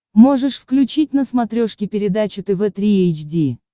можешь включить на смотрешке передачу тв три эйч ди